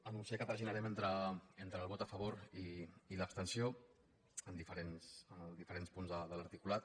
anunciar que traginarem entre el vot a favor i l’abstenció en els diferents punts de l’articulat